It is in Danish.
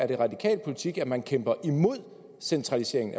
det er radikal politik at man kæmper imod centralisering